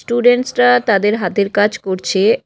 স্টুডেন্টসরা তাদের হাতের কাজ করছে।